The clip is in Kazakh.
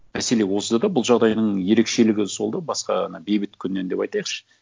мәселе осыда да бұл жағдайдың ерекшелігі сол да басқа ана бейбіт күннен деп айтайықшы